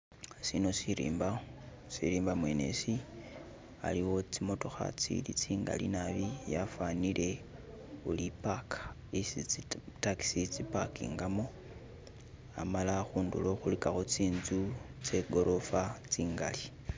Shino shirimba, shirimba mwene shi khaliwo tsi mootokha tsili tsingali naabi yafanile uri park yesi zi taxi zi pakingamo hamala kunduro khuligakho tsinzu tsegorofa tsingali.